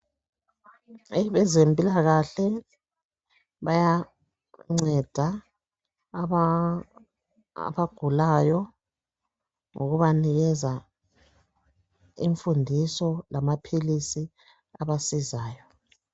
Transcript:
Abezempilakahle bayanceda abagulayo ngokubanikeza imfundiso lamaphilisi abasizayo.